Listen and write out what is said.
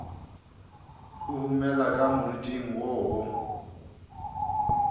huhumela ka moriting wo wo